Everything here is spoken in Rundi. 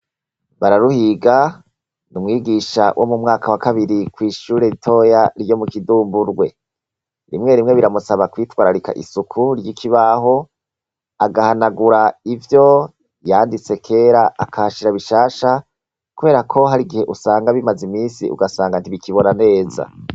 Bararuhiga, ni umwigisha wo kw' ishure ritoya ryo mu Kidumburwe. Rimwe rimwe biramusaba kwitwararika isuku ry' ikibaho, agahanagura ivyo yanditse kera akahashira bishasha , kubera ko hari igihe usanga bimeze iminsi ugasanga ntibikibona neza.